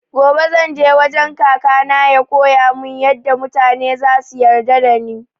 Gobe zan je wajen kaka na ya koyamun yaɗa mutane zasu yarda da ni